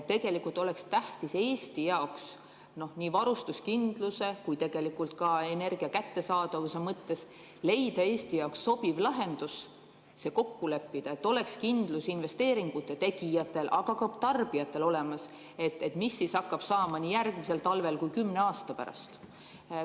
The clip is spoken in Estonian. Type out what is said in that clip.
Tegelikult oleks tähtis nii varustuskindluse kui ka energia kättesaadavuse mõttes leida Eesti jaoks sobiv lahendus, see kokku leppida, et oleks kindlus investeeringute tegijatel, aga ka tarbijatel, mis siis hakkab saama nii järgmisel talvel kui kümne aasta pärast.